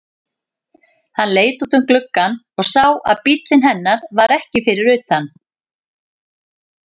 Hann leit út um gluggann og sá að bíllinn hennar var ekki fyrir utan.